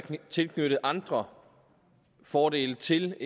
tilknyttet andre fordele til